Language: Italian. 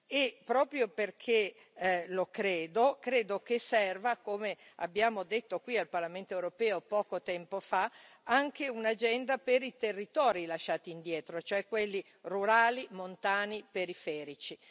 E proprio perché lo credo, credo che serva, come abbiamo detto qui al Parlamento europeo poco tempo fa, anche un'agenda per i territori lasciati indietro, cioè quelli rurali, montani, periferici.